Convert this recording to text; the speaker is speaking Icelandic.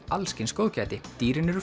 alls kyns góðgæti dýrin eru